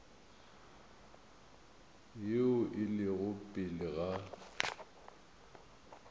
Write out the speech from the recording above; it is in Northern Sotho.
yeo e lego pele ga